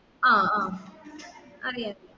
ആ ആ അതെയ